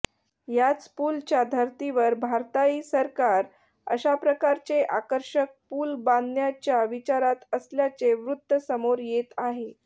याच पुलच्या धर्तीवर भारताही सरकार अशाप्रकारचे आकर्षक पूल बांधण्याच्या विचारात असल्याचे वृत्त समोर येत आहे